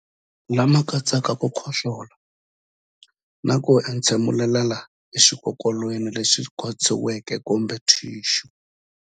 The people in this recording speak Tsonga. Lama katsaka ku khohlola na ku entshemulela exikokolweni lexi khotsiweke kumbe thixu.